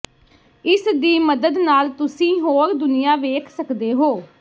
ਇਸ ਦੀ ਮਦਦ ਨਾਲ ਤੁਸੀਂ ਹੋਰ ਦੁਨੀਆ ਵੇਖ ਸਕਦੇ ਹੋ